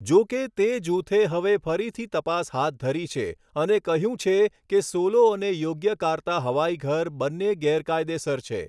જો કે, તે જૂથે હવે ફરીથી તપાસ હાથ ધરી છે અને કહ્યું છે કે, સોલો અને યોગ્યકાર્તા હવાઈઘર બન્ને ગેરકાયદેસર છે.